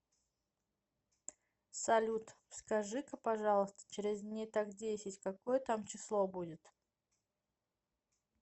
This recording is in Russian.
салют скажи ка пожалуйста через дней так десять какое там число будет